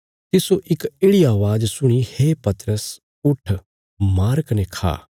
तिस्सो इक येढ़ि अवाज़ सुणी हे पतरस उट्ठ मार कने खा